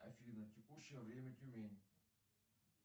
афина текущее время тюмень